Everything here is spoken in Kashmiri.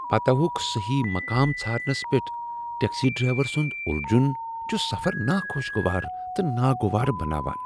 پتحوک صحیح مقام ژھارنس پؠٹھ ٹیکسی ڈرائیور سنٛد الجھن چھ سفر ناخوشگوار تہٕ ناگوار بناوان۔